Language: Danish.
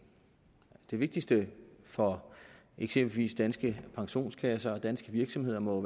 det vigtigste for eksempelvis danske pensionskasser og danske virksomheder må